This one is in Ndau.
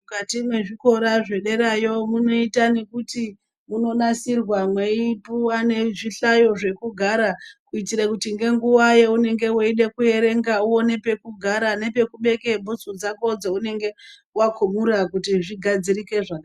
Mukati mezvikora zvederayo munoita nekuti munonasirwa mweipuwa nezvihlayo zvekugara kuitira kuti ngenguwa yaunenge weida kuerenga uone pekugara nepekubeka bhutsu dzako dzounge wakumura kuti zvigadzirike zvakanaka